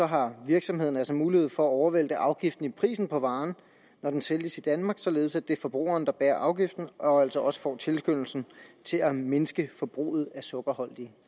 har virksomheden altså mulighed for at overvælte afgiften i prisen på varen når den sælges i danmark således at det er forbrugeren der bærer afgiften og altså også får tilskyndelsen til at mindske forbruget af sukkerholdige